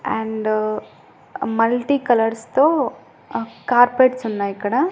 And multi colours తో ఆ carpets ఉన్నాయి ఇక్కడ.